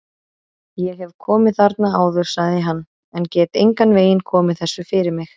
Ég hef komið þarna áður sagði hann, en get engan veginn komið þessu fyrir mig